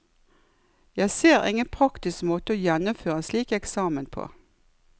Jeg ser ingen praktisk måte å gjennomføre en slik eksamen på.